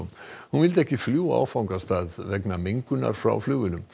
hún vildi ekki fljúga á áfangastað vegna mengunar frá flugvélum